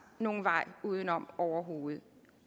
nogen vej udenom overhovedet